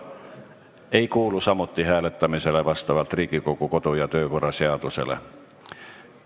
See ei kuulu samuti hääletamisele vastavalt Riigikogu kodu- ja töökorra seadusele.